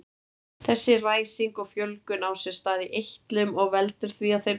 Þessi ræsing og fjölgun á sér stað í eitlum og veldur því að þeir bólgna.